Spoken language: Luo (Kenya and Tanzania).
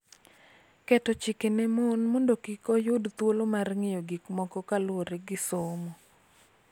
Keto chike ne mon mondo kik oyud thuolo mar ng�iyo gik moko kaluwore gi somo.